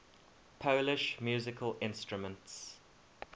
polish musical instruments